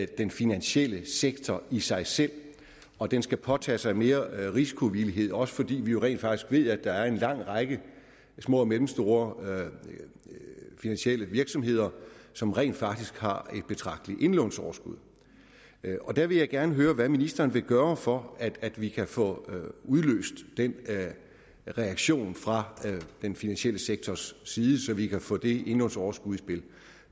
den finansielle sektor i sig selv og den skal påtage sig mere risikovillighed også fordi vi jo rent faktisk ved at der er en lang række små og mellemstore finansielle virksomheder som rent faktisk har et betragteligt indlånsoverskud og der vil jeg gerne høre hvad ministeren vil gøre for at vi kan få udløst den reaktion fra den finansielle sektors side så vi kan få det indlånsoverskud i spil